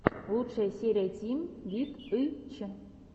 лучшая серия тим вит ы ч